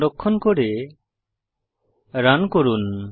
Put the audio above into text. সংরক্ষণ করে রান করুন